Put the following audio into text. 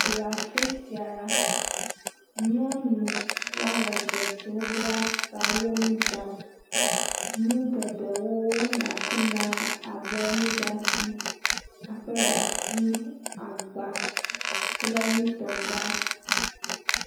Le afi sia la, nyɔnu woame eve siwo bla tawo nu ɖam, nu geɖewo le afi ma, abe nuɖati, akpleɖati, agba kple nutɔgba.